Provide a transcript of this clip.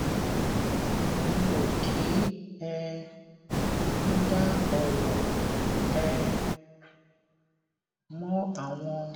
mi ò kí um n dá òrò um mọ àwọn